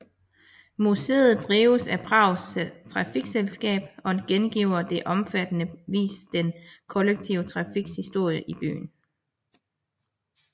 Museet drives af Prags trafikselskab og gengiver på omfattende vis den kollektive trafiks historie i byen